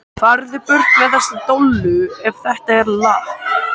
FARÐU BURT MEÐ ÞESSA DOLLU EF ÞETTA ER LAKK.